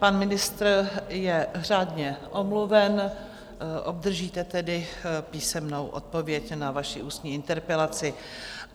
Pan ministr je řádně omluven, obdržíte tedy písemnou odpověď na vaši ústní interpelaci.